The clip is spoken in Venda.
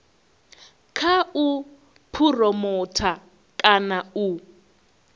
kha u phuromotha kana u